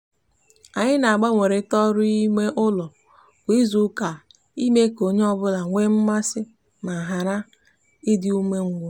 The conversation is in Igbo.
anyi na agbanwerita oru ime ulo kwa izuuka ime ka onye onye obula nwe mmasi ma hara idi umengwu